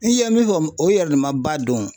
I ye min fɔ o yɛrɛ de ma ba don